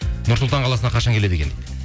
нұр сұлтан қаласына қашан келеді екен дейді